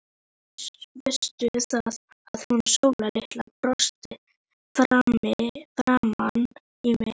Veistu það, að hún Sóla litla brosti framan í mig.